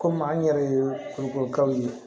Komi an yɛrɛ ye kurukuru kaw ye